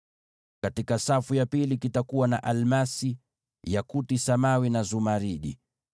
katika safu ya pili itakuwa na almasi, yakuti samawi na zumaridi;